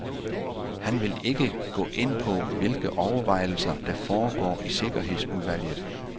Han vil ikke gå ind på, hvilke overvejelser der foregår i sikkerhedsudvalget.